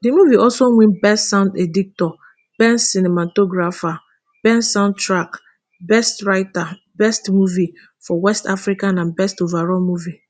di movie also win best sound editor best cinematographer best soundtrack best writers best movie for west africa and best overall movie